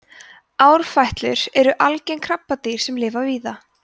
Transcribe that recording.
árfætlur eru algeng krabbadýr sem lifa víða